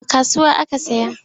A kasuwa aka saya.